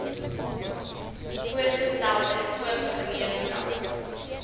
voorgestelde oop gemeenskap